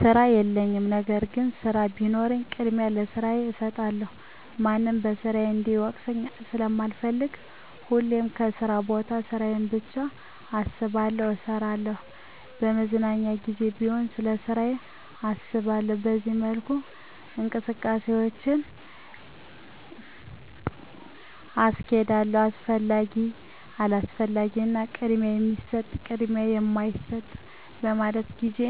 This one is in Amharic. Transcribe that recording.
ስራ የለኝም። ነገር ግን ስራ ቢኖረኝ ቅድሚያ ለስራዬ እሠጣለሁ ማንም በስራዬ እንዲወቅሰኝ ስለማልፈልግ ሁሌም በስራ ቦታ ስራዬን ብቻ አስባለሁ እሠራለሁ። በመዝናኛ ጊዜ ቢሆን ስለስራ አላስብም በዚህ መልኩ እንቅስቃሴዎቼን አስኬዳለሁ። አስፈላጊ፤ አላስፈላጊ እና ቅድሚያ የሚሠጠው፤ ቅድሚያ የማይሠጠው በማለት ጊዜ